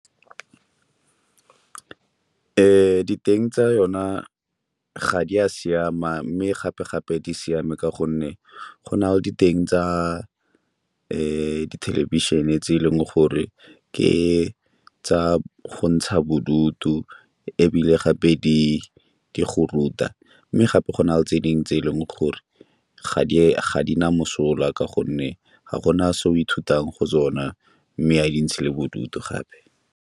Diteng tsa yona ga di a siama mme gape-gape di siame ka gonne go na le diteng tsa di thelebišene tse e leng gore ke tsa go ntsha bodutu ebile gape ke go ruta, mme gape go na le tse dingwe tse e leng gore ga di na mosola ka gonne ga go na se o ithutang go sona mme a di ntshe le bodutu gape.